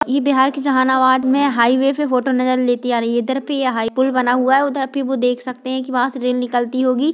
इ बिहार के जहानाबाद में हाईवे के फोटो नजर लेती आ रही है इधर पे ये पुल बना हुआ है उधर पे आप देख सकते है वहां से रेल निकलती होगी।